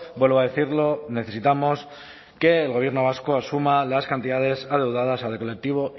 vuelvo a decirlo necesitamos que el gobierno vasco asuma las cantidades adeudadas al colectivo